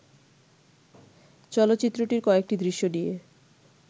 চলচ্চিত্রটির কয়েকটি দৃশ্য নিয়ে